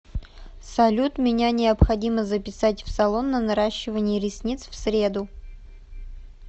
салют меня необходимо записать в салон на наращивание ресниц в среду